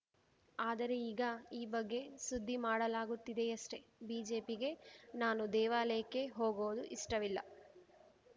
ಆದರೆ ಈಗ ಈ ಬಗ್ಗೆ ಸುದ್ದಿ ಮಾಡಲಾಗುತ್ತಿದೆಯಷ್ಟೇ ಬಿಜೆಪಿಗೆ ನಾನು ದೇವಾಲಯಕ್ಕೆ ಹೋಗೋದು ಇಷ್ಟವಿಲ್ಲ